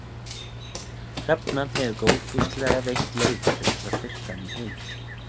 Hrefna hefur góðfúslega veitt leyfi til þess að birta hana í heild